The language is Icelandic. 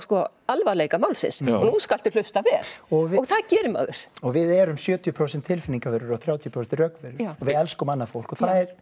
alvarleika málsins nú skaltu hlusta vel og það gerir maður og við erum sjötíu prósent tilfinningaverur og þrjátíu prósent rökverur og við elskum annað fólk og það er